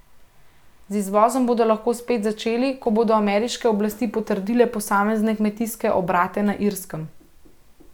Z izvozom bodo lahko spet začeli, ko bodo ameriške oblasti potrdile posamezne kmetijske obrate na Irskem.